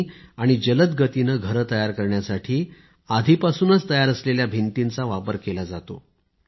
आणि जलद गतीने घरे तयार करण्यासाठी आधीपासूनच तयार असलेल्या भिंतींचा वापर केला जात आहे